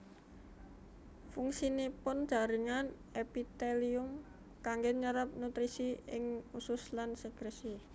Fungsinipun jaringan èpitèlium kanggè nyérép nutrisi ing usus lan sèkrèsi